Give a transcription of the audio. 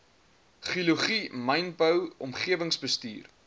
geologie mynbou omgewingsbestuur